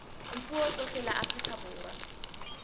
dipuo tsohle la afrika borwa